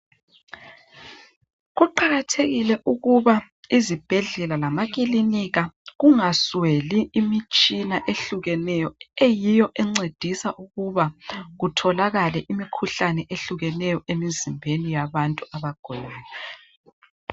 Kuqakathekile ukuba izibhedlela lama kilinika kungasweli imitshina ehlukeneyo eyiyo encedisa ukuba kutholakale imikhuhlane ehlukeneyo emzimbeni yabantu abagulayo.